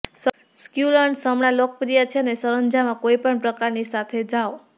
succulents હમણાં લોકપ્રિય છે અને સરંજામ કોઈપણ પ્રકારની સાથે જાઓ